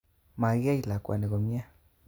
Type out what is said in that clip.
Makiyai lakwani komie